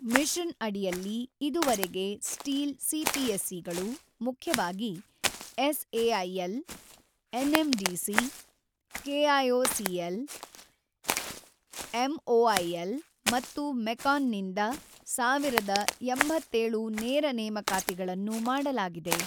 Mission ಅಡಿಯಲ್ಲಿ, ಇದುವರೆಗೆ steel ಸಿಪಿಎಸ್ಇಗಳು ಮುಖ್ಯವಾಗಿ ಎಸ್ಎಐಎಲ್, ಎನ್ಎಂಡಿಸಿ, ಕೆಐಒಸಿಎಲ್, ಎಂಒಐಎಲ್ ಮತ್ತು ಮೆಕಾನ್ ನಿಂದ ೧೦೮೭ ನೇರ ನೇಮಕಾತಿಗಳನ್ನು ಮಾಡಲಾಗಿದೆ.